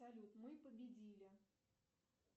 салют мы победили